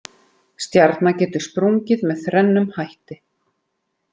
Stjarna getur sprungið með þrennum hætti.